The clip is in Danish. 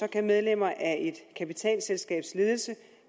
kan medlemmer af et kapitalselskabs ledelse